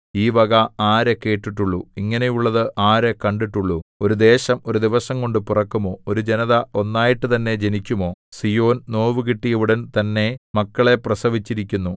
ഈ വക ആര് കേട്ടിട്ടുള്ളു ഇങ്ങനെയുള്ളതു ആര് കണ്ടിട്ടുള്ളു ഒരു ദേശം ഒരു ദിവസംകൊണ്ട് പിറക്കുമോ ഒരു ജനത ഒന്നായിട്ടുതന്നെ ജനിക്കുമോ സീയോൻ നോവുകിട്ടിയ ഉടൻ തന്നെ മക്കളെ പ്രസവിച്ചിരിക്കുന്നു